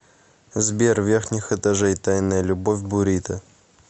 сбер верхних этажей тайная любовь бурито